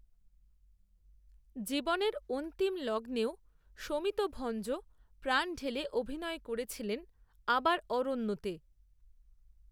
জীবনের, অন্তিম লগ্নেও শমিত ভঞ্জ প্রাণ ঢেলে অভিনয় করেছিলেন, আবার অরণ্যেতে